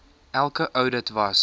elke oudit was